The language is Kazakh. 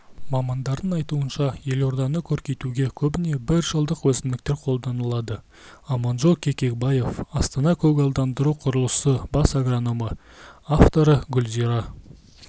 мамандардың айтуынша елорданы көркейтуге көбіне біржылдық өсімдіктер қолданылады аманжол кебекбаев астана-көгалдандыру құрылысы бас агрономы авторы гүлзира